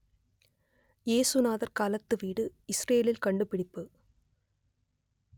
இயேசுநாதர் காலத்து வீடு இசுரேலில் கண்டுபிடிப்பு